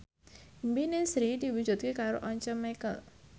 impine Sri diwujudke karo Once Mekel